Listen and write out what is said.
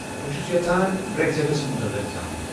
بہٕ چُھس یژھان بریگزٹس مُطلق زانُن ۔